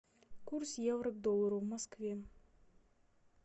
курс евро к доллару в москве